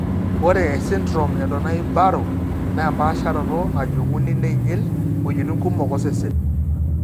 Ore esindirom eDonnai Barrow naa empaasharoto najung'uni neinyil iwuejitin kumok osesen.